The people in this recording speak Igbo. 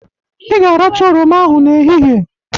Ị ga-aracha oroma ahụ n'ehihie.